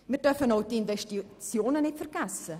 Wir dürfen auch die Investitionen nicht vergessen.